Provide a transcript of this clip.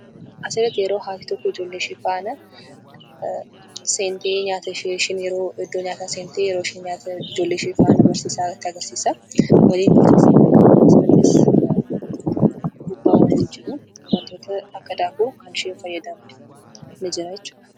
Asirratti yeroo haati ijoollee ishee faana seentee nyaata ishee yeroo isheen nyaata ijoolleeshee barsiisaa itti agarsiisaa wantoota akka daabboo nyaataa jiru.